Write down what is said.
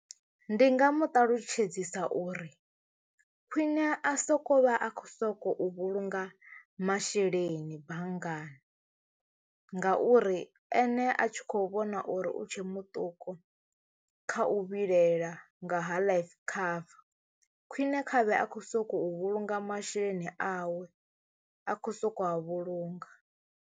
Ndi nga mu ṱalutshedzisa uri khwiṋe a soko vha a khou sokou vhulunga masheleni banngani ngauri ene a tshi khou vhona na uri u tshe muṱuku kha u vhilela nga ha life cover khwine khavhe a khou sokou vhulunga masheleni awe a khou soko a vhulunga.